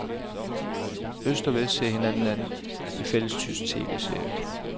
Øst og vest ser hinanden an i fællestysk tv-serie.